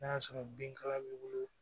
N'a y'a sɔrɔ binkala b'i bolo